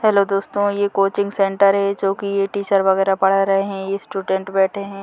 Hello दोस्तों ये coaching centre है जो की ये टीचर वगेरा पढ़ा रहै हैं स्टूडेंट बैठे हैं।